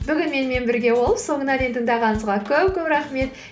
бүгін менімен бірге болып соңына дейін тыңдағаныңызға көп көп рахмет